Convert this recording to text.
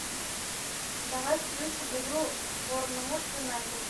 давай включим игру борнмут юнайтед